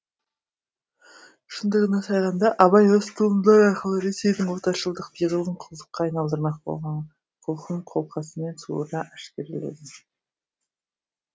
шындығына сайғанда абай осы туындылар арқылы ресейдің отаршылдық пиғылын құлдыққа айналдырмақ болған құлқын қолқасымен суыра әшкереледі